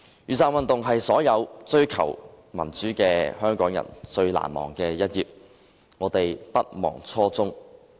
雨傘運動是所有追求民主的香港人最難忘的一頁，我們不忘初衷。